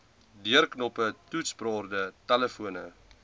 deurknoppe toetsborde telefone